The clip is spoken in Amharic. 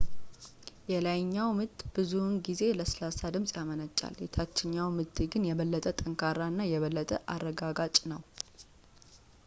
የላይኛው-ምት ብዙውን ጊዜ ለስላሳ ድምፅ ያመነጫል ፣ የታችኛው-ምት ግን የበለጠ ጠንካራ እና የበለጠ አረጋጋጭ ነው